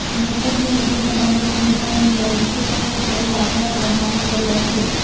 મૃતકના મિત્ર રમેશ હીરાણીએ હોસ્પિટલ પર કર્યા આકરા પ્રહારો કર્યા છે